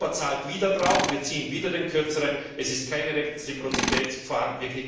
Europa zahlt wieder drauf, wir ziehen wieder den Kürzeren, es ist keine Reziprozität vorhanden.